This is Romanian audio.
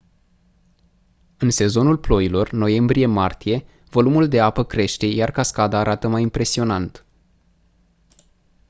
în sezonul ploilor noiembrie-martie volumul de apă crește iar cascada arată mai impresionant